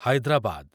Hyderabad